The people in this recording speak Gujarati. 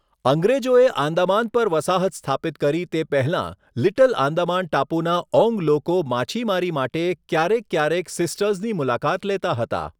અંગ્રેજોએ આંદામાન પર વસાહત સ્થાપિત કરી તે પહેલાં, લિટલ આંદામાન ટાપુના ઓન્ગ લોકો માછીમારી માટે ક્યારેક ક્યારેક સિસ્ટર્સની મુલાકાત લેતા હતા.